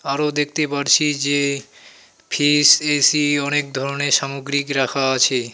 আরো দেখতে পারছি যে ফ্রিজ এসি অনেক ধরনের সামগ্রিক রাখা আছে.